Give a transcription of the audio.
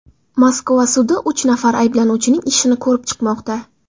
Moskva sudi uch nafar ayblanuvchining ishini ko‘rib chiqmoqda.